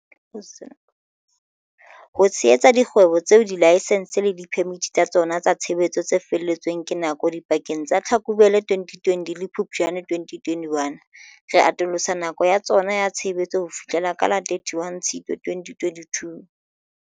Ho tshehetsa dikgwebo tseo dilaesense le diphemiti tsa tsona tsa tshebetso tse fele tsweng ke nako dipakeng tsa Tlhakubele 2020 le Phuptjane 2021, re atolosa nako ya tsona ya tshebetso ho fihlela ka la 31 Tshitwe 2022.